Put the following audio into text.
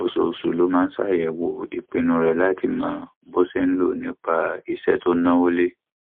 oṣooṣù ló máa ń ṣàyẹwò ìpinnu rẹ láti mọ bó ṣe ń lọ nípa iṣẹ tó ń náwó lé